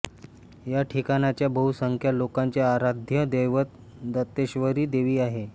या ठिकाणच्या बहुसंख्य लोकांचे आराध्य दैवत दंतेश्वरी देवी आहे